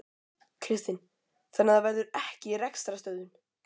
Kristinn: Þannig að það verður ekki rekstrarstöðvun?